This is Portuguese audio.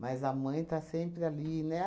Mas a mãe está sempre ali, né?